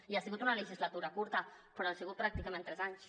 i ha sigut una legislatura curta però han sigut pràcticament tres anys